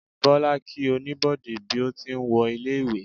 bola kí Oníbodè bí o ti n wo ilé ìwé